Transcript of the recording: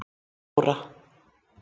fjóra